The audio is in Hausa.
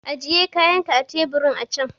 Ajiye kayanka akan teburin a can!